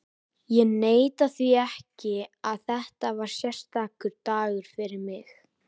Ég neita því ekki að þetta var sérstakur dagur fyrir mig.